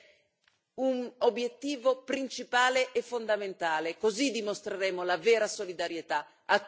La resilienza dei nostri territori deve essere un obiettivo principale e fondamentale.